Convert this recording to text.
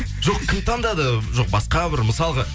жоқ кім таңдады жоқ басқа бір мысалға